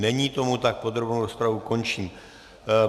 Není tomu tak, podrobnou rozpravu končím.